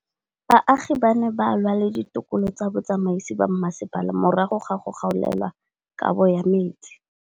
Baagi ba ne ba lwa le ditokolo tsa botsamaisi ba mmasepala morago ga go gaolelwa kabo metsi